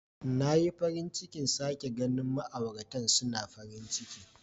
Na yi farin cikin sake ganin ma'auratan suna farin ciki.